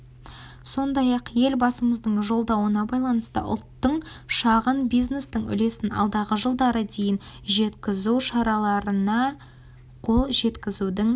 сондай-ақ елбасымыздың жолдауына байланысты ұлттың шағын бизнестің үлесін алдағы жылдары дейін жеткізу шараларына қол жеткізудің